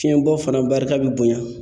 Fiɲɛbɔ fana barika bɛ bonya.